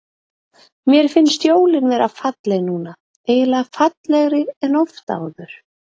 Mér finnst jólin vera falleg núna, eiginlega fallegri en oft áður.